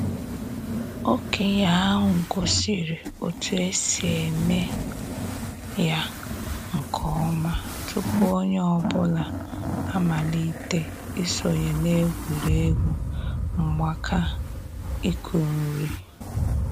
Okenye ahu gosiri otu esi eme ya nke ọma tupu onye ọ bụla amalite isonye na egwuregwu mgbaaka ịkụ nri